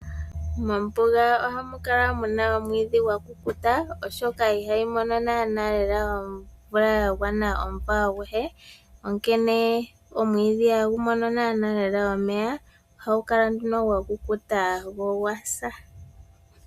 Mombuga ohamu kala mu na omwiidhi gwa kukuta oshoka ihamu mono omvula ya gwana omumvo aguhe. Omwiidhi ihagu mono nawa omeya nohagu kala gwa kukuta, ano gwa sa.